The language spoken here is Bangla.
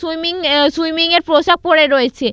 সুইমিং অ্যা সুইমিং এর পোশাক পরে রয়েছে।